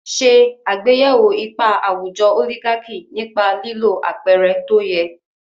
Ṣe àgbéyẹ̀wò ipa àwùjọ oligaki nípa lílo àpẹẹrẹ tó yẹ.